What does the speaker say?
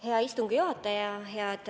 Hea istungi juhataja!